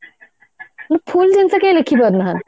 କିନ୍ତୁ full ଜିନିଷ କେହି ଲେଖିପାରୁନାହାନ୍ତି